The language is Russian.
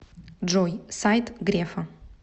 джой сайт грефа